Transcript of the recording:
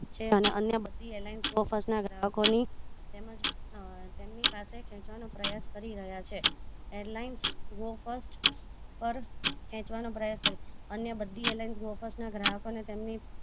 છે અને અન્ય બધી allegiance ના ગ્રાહકો ની તેમજ તેમની પાસે ખેચવાનો પ્રયાસ કરી રહ્યા છે airline go first પર ખેચવાનો પ્રયાસ અન્ય બધી airline offer ગ્રાહકો ને તેમની